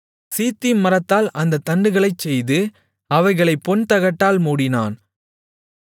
சீத்திம் மரத்தால் அந்தத் தண்டுகளைச் செய்து அவைகளைப் பொன்தகட்டால் மூடினான்